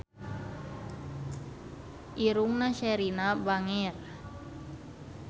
Irungna Sherina bangir